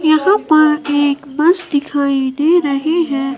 यहां पर एक बस दिखाई दे रही हैं।